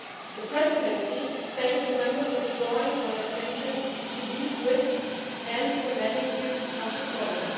The Presidency thanks Members for drawing our attention to these risks and the magnitude of the problem.